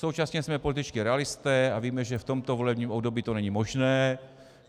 Současně jsme političtí realisté a víme, že v tomto volebním období to není možné.